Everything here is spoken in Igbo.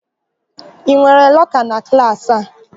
Ị nwere lọka na klaasị a?